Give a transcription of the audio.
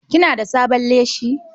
Kina da sabon leshi?